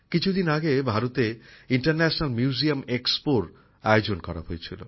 কিছু দিন আগে ভারতে আন্তর্জাতিক সংগ্রহশালার এক্সপোর আয়োজন করা হয়েছিল